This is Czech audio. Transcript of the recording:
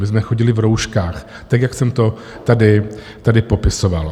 My jsme chodili v rouškách, tak jak jsem to tady popisoval.